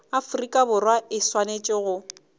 afrika borwa e swanetše go